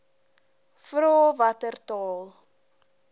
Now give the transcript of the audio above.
vra watter taal